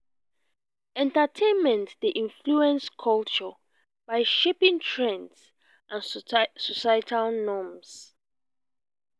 entertainment dey influence culture by shaping trends and societal norms.